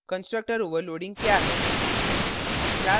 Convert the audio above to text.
constructor overloading क्या है